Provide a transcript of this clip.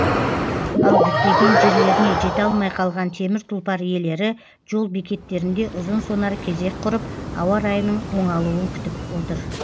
ал діттеген жерлеріне жете алмай қалған темір тұлпар иелері жол бекеттерінде ұзын сонар кезек құрып ауа райының оңалуын күтіп тұр